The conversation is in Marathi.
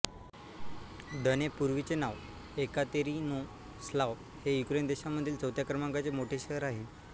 द्नेप् पूर्वीचे नावः येकातेरिनोस्लाव हे युक्रेन देशामधील चौथ्या क्रमांकाचे मोठे शहर आहे